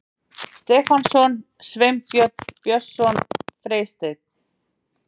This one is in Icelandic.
Stefánsson, Sveinbjörn Björnsson, Freysteinn